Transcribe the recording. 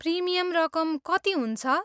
Premium रकम कति हुन्छ?